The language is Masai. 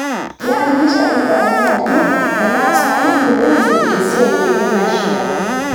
Keiakikisha wilayani ajo etaasa ambulensi esiai enye naishiaa